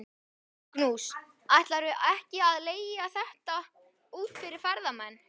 Magnús: Ætlarðu ekki að leigja þetta út fyrir ferðamenn?